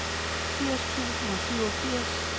firs tusind og syvogfirs